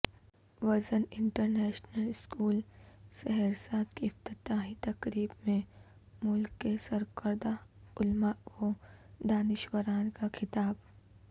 vision international school Saharsa کی افتتاحی تقریب میں ملک کےسرکردہ علما و دانشوران کا خطاب